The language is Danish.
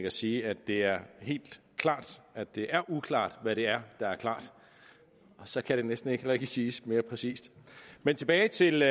at sige at det er helt klart at det er uklart hvad det er der er klart og så kan det næsten ikke siges mere præcist men tilbage til